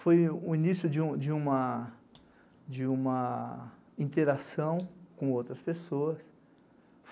Foi o início de uma, de uma, interação com outras pessoas.